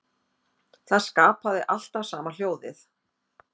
Það skapaði alltaf sama hljóðið.